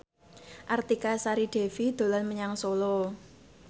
Artika Sari Devi dolan menyang Solo